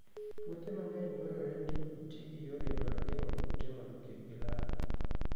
Puothe mang'eny dwarore ni oti gi yore mag geng'o kute mondo kik gilal.